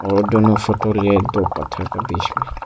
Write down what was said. वो दोनो फोटो लिए दो पत्थर के बीच में।